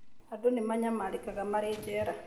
Andũ nĩ manyamarĩkaga marĩ njera